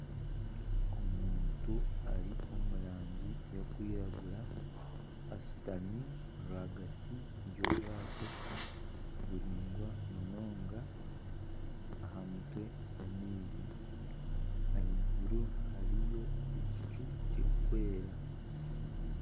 Omuntu ari omu rangi y'okwiragura ashutami rwagati y'obwato buraingwa munonga aha mutwe gw'amaizi ahaiguru hariyo ekicu kirikwera.